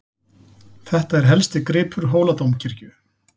Þetta er helsti gripur Hóladómkirkju.